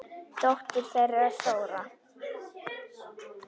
Dóttir þeirra er Þóra.